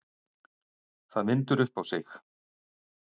Það vindur upp á sig.